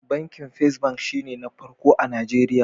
Bankin First bank shi ne na farko a Nigeria.